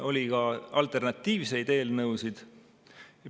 Oli ka alternatiivseid eelnõusid.